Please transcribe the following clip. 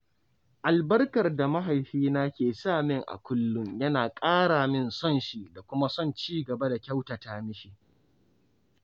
Albarkar da mahaifi na ke samin a kullum yana ƙara min son shi da kuma son cigaba da kyautata mishi.